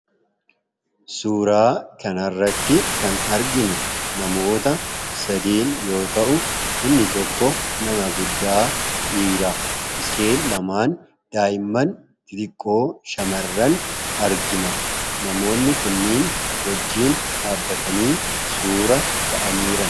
Suuraa kanarratti kan arginu namoota sadii yoo ta’u, inni tokko nama guddaa dhiira, isheen xixiqqoon daa'imman xixiqqoo shamarran argina. Namoonni kunniin wajjin dhaabbatanii suuraa ka'anii jiran.